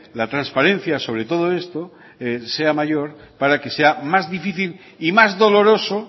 la transparencia sobre todo esto sea mayor para que sea más difícil y más doloroso